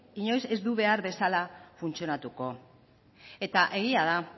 inoiz ez du behar bezala funtzionatuko eta egia da